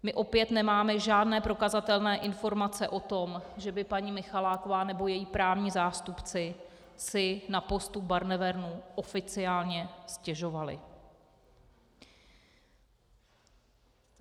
My opět nemáme žádné prokazatelné informace o tom, že by paní Michaláková nebo její právní zástupci si na postup Barnevernu oficiálně stěžovali.